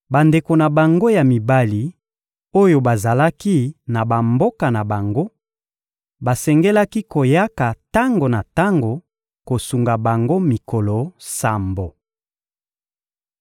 Bandeko na bango ya mibali oyo bazalaki na bamboka na bango, basengelaki koyaka tango na tango kosunga bango mikolo sambo.